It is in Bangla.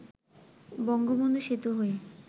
বঙ্গবন্ধু সেতু হয়ে